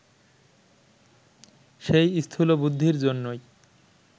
সেই স্থূলবুদ্ধির জন্যই